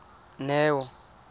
neo